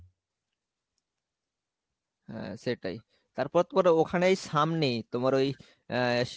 হ্যাঁ সেটাই, তারপর তোমার ওখানেই সামনেই তোমার ওই আহ ইস